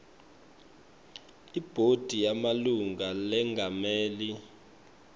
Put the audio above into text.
ibhodi yemalunga lengamele